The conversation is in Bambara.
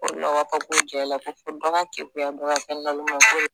jɛ la ko fo dɔ ka kegunya dɔ ka kɛ naloma ye k'o de